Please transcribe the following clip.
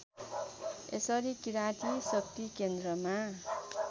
यसरी किराती शक्तिकेन्द्रमा